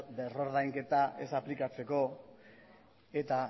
berreordainketa ez aplikatzeko eta